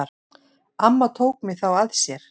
Amma tók mig þá að sér.